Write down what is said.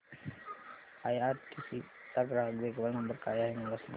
IRCTC चा ग्राहक देखभाल नंबर काय आहे मला सांग